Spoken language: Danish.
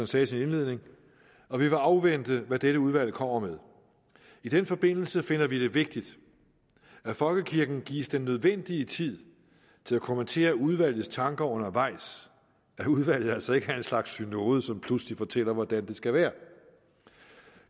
sagde i sin indledning og vi vil afvente hvad dette udvalg kommer med i den forbindelse finder vi det vigtigt at folkekirken gives den nødvendige tid til at kommentere udvalgets tanker undervejs at udvalget altså ikke er en slags synode som pludselig fortæller hvordan det skal være